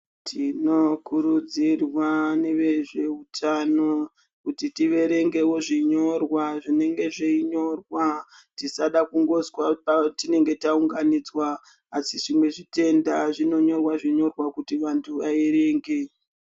Tinokurudzirwa nevezvehutano kuti tiverengewo zvinyorwa zvinenge zveinyorwa tisada kungozwa patinenge taunganidzwa asi zvimweni zvitenda zvinonyorwavo kuti vantu vaverenge.